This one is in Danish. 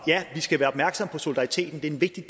vil jeg